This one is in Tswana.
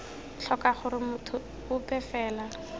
tlhoka gore motho ope fela